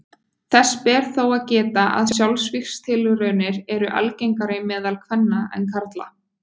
Þess ber þó að geta að sjálfsvígstilraunir eru algengari meðal kvenna en karla.